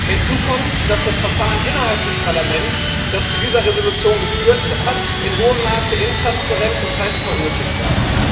Hinzu kommt, dass das Verfahren innerhalb des Parlaments, das zu dieser Entschließung geführt hat, in hohem Maße intransparent und teils chaotisch war.